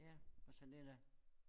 Ja også det da